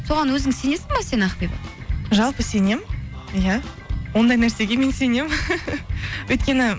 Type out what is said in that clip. соған өзің сенесің бе сен ақбибі жалпы сенемін иә ондай нәрсеге мен сенемін өйткені